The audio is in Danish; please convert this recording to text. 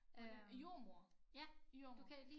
Øh jordemoder jordemoder